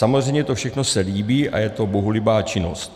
Samozřejmě to všechno se líbí a je to bohulibá činnost.